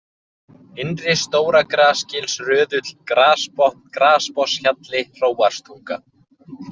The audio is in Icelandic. Innri-Stóragrasgilsröðull, Grasbotn, Grasbotnshjalli, Hróarstunga